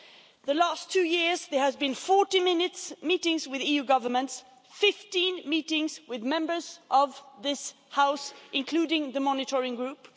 Over the past two years, there have been 40 meetings with EU governments and 15 meetings with Members of this House, including the monitoring group.